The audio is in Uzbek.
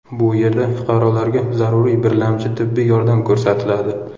Bu yerda fuqarolarga zaruriy birlamchi tibbiy yordam ko‘rsatiladi.